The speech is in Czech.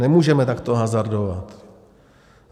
Nemůžeme takto hazardovat.